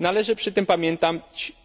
Należy przy tym